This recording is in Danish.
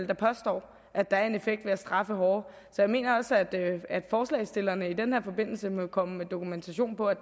der påstår at der er en effekt ved at straffe hårdere så jeg mener også at forslagsstillerne i den her forbindelse må komme med dokumentation for at